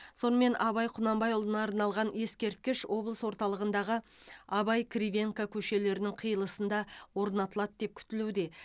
сонымен абай құнанбайұлына арналған ескерткіш облыс орталығындағы абай кривенко көшелерінің қиылысында орнатылады деп күтілуде